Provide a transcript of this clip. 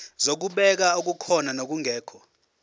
zokubheka okukhona nokungekho